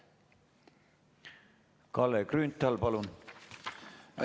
Kalle Grünthal, palun!